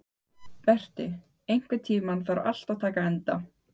Berti, einhvern tímann þarf allt að taka enda.